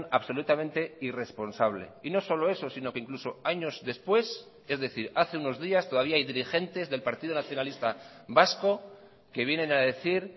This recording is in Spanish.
absolutamente irresponsable y no solo eso sino que incluso años después es decir hace unos días todavía hay dirigentes del partido nacionalista vasco que vienen a decir